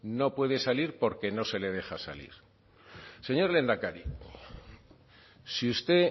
no puede salir porque no se le deja salir señor lehendakari si usted